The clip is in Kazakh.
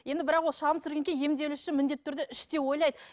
енді бірақ ол шағым түсіргеннен кейін емделуші міндетті түрде іштей ойлайды